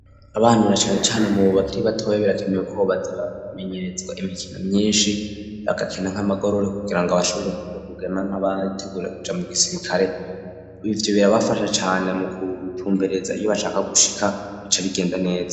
Abantu na cane cane mu bakiri batoye birakenewe ko baza bamenyerezwa imikino myishi bagakina nk'amagorori kugira ngo bashobore kwiga kugema nk'abateguye kuja mu gisirikare ivyo birabafasha cane mu kutumbereza iyo bashaka gushika bica bigenda neza.